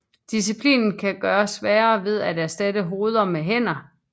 Disciplinen kan gøres sværere ved at erstatte hoveder med hænder